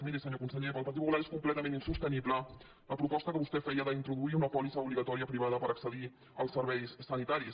miri senyor conse·ller pel partit popular és completament insostenible la proposta que vostè feia d’introduir una pòlissa obliga·tòria privada per accedir als serveis sanitaris